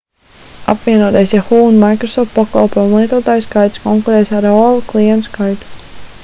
apvienotais yahoo un microsoft pakalpojumu lietotāju skaits konkurēs ar aol klientu skaitu